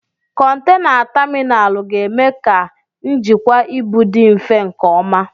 Kọntena taminalu ga-eme ka njikwa ibu dị mfe nke ọma.